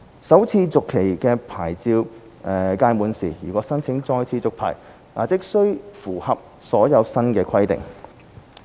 首次續期的牌照屆滿時，如申請再次續牌，則須符合所有新的規定。